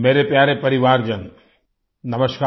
मेरे प्यारे परिवारजन नमस्कार